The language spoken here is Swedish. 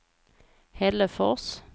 Hällefors